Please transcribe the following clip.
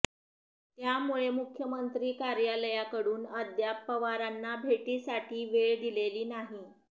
त्यामुळे मुख्यमंत्री कार्यालयाकडून अद्याप पवारांना भेटीसाठी वेळ दिलेली नाही